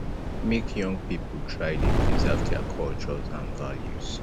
make young pipo try de preserve their cultures and values